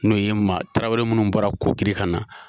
N'o ye ma tarawele mun bɔra kokiri ka na.